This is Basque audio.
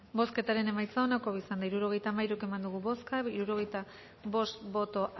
bozketaren emaitza onako izan da hirurogeita hamairu eman dugu bozka hirurogeita bost boto